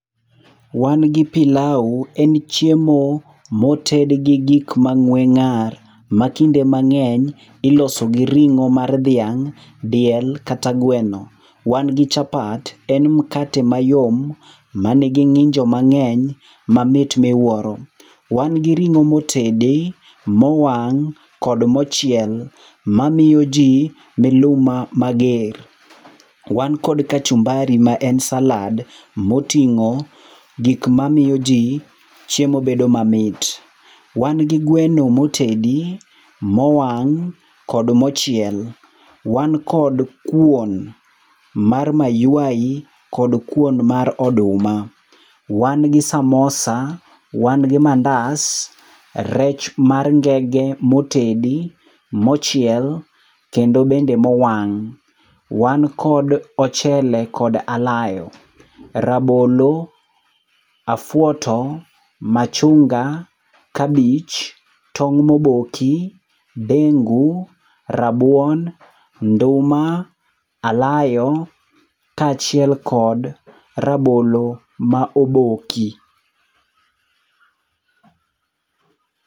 Wan gi pilau en chiemo moted gi gik mang'we ng'ar. Matinde mang'eny iloso gi ring' mar dhiang', diel, kata gweno. Wan gi chapat. En mkate ma yom mangi ng'injo mang'eny mamit miwuoro. Wan gi ring'o motedi, mowang' kod mochiel mamiyoji miluma mager. Wan kod kachumbari ma en salad moting'o gig mamiyo ji chiemo bedo mamit. Wan gi gweno motedi, mowang' kod mochiel. Wan kod kuon mar mayuayi kod kuon mar oduma. Wan gi samosa. Wan gi mandas, rech mar ngenge motedi, mochiel, kendo bende mowang'. Wan kod ochele kod alayo, rabolo, afwoto, machunga, kabich, tong' moboki, dengu, rabuon, nduma, alayo, kachiel kod rabolo ma oboki.